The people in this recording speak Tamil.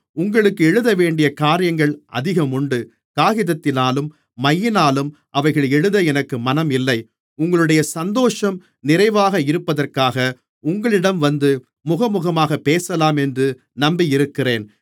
உங்களுக்கு எழுதவேண்டிய காரியங்கள் அதிகம் உண்டு காகிதத்தினாலும் மையினாலும் அவைகளை எழுத எனக்கு மனம் இல்லை உங்களுடைய சந்தோஷம் நிறைவாக இருப்பதற்காக உங்களிடம் வந்து முகமுகமாகப் பேசலாம் என்று நம்பியிருக்கிறேன்